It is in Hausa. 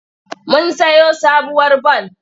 Mun sayo sabuwar bal.